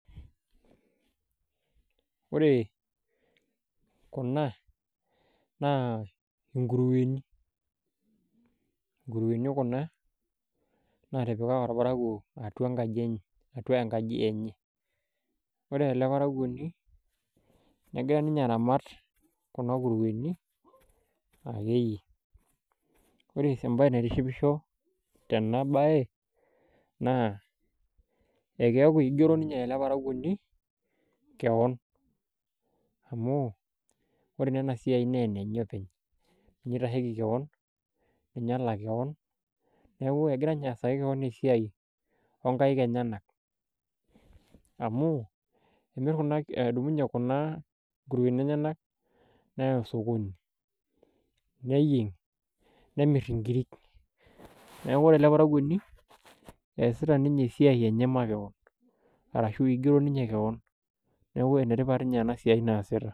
ore kuna naa nkurueni. nkurueni kuna naatipika irparakuo atua enkaji enye, atua enkaji enye. ore ele parakuoni negira ninye aramat kuna kurueni akeyie. ore entoki niatishipisho tena bae, naa ekeeku eigero ninye ele parakuoni keon, amu ore naa ena siai naa enenye openy. ninye oitasheki kewon ninye olak kewon. neku egira ninye aitasheki esiai ookik enyenak. amu emir edumu ninye kuna kuruei enyenak neya sokoni ,neyieng, nemir inkiri, neeku ore ele parakuoni eesita ninye esiai enye makewon ashu igero ninye kewon neeku ene tipat ninye ena siai naasita.